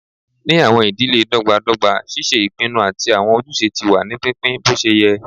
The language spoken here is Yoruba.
Ni awọn idile dọgbadọgba, ṣíṣe ìpinnu àti awọn ojúṣe ti wà ní pínpín boṣeyẹ